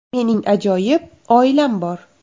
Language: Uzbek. Mening ajoyib oilam bor”.